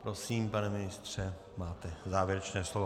Prosím, pane ministře, máte závěrečné slovo.